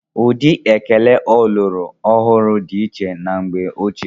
Ụdị ekele ọlọrọ ọhụrụ dị iche na mgbe ochie